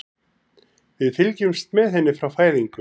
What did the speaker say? Við fylgjumst með henni frá fæðingu.